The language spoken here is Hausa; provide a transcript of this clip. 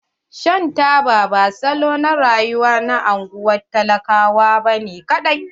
Shan taba ba salon rayuwa na anguwan talaka bane ƙadai.